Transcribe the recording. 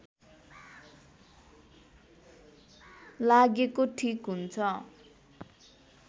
लागेको ठीक हुन्छ